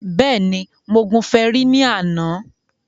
Bẹ́ẹ̀ni, mo gun fẹrí ní àná